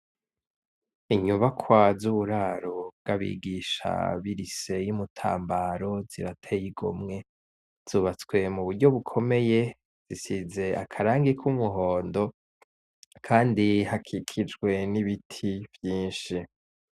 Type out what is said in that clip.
Inyubakwa z' uburaro bw' abigisha b' irise y' Imutambaro zirateye igomwe , zubatswe mu buryo bukomeye , zisize akarangi k' umuhondo kandi hakikijwe n' ibiti vyinshi.